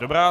Dobrá.